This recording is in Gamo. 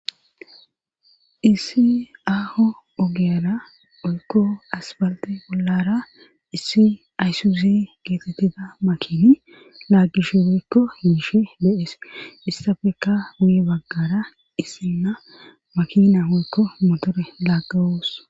issi aaho ogiyara oykko asbalte bollara issi ayssuzi geetettida makini laaggishu weykko hiishe deees issafeka muye baggara issinna makina woykko motore laaggawoos